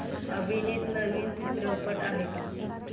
अभिनीत नवीन चित्रपट आहे का